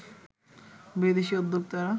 বিদেশি উদ্যোক্তারা